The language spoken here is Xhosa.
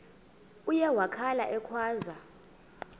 uye wakhala ekhwaza